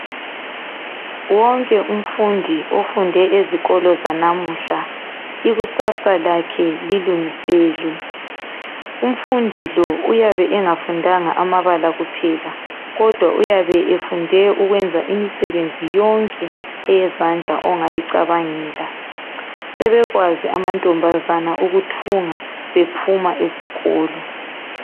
Wonke umfundi ofunde ezikolo zanamuhla, ikusasa lakhe lilungiselwe. Umfundi lo uyabe engafundanga amabala kuphela, kodwa uyabe efunde yonke imisebenzi yezandla ongayicabangela. Asekwazi amantombazana ukuthunga ephuma esikolo.